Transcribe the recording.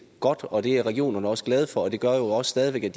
godt og det er regionerne også glade for og det gør jo også at de